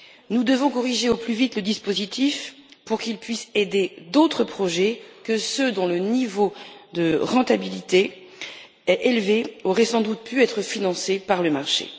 Nous devons corriger au plus vite le dispositif pour qu'il puisse aider d'autres projets que ceux dont le niveau de rentabilité est élevé et qui auraient sans doute pu être financés par le marché.